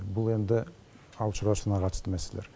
бұл енді ауыл шаруашылығына қатысты мәселелер